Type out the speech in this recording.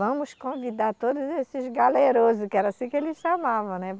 Vamos convidar todos esses galerosos, que era assim que eles chamavam, né?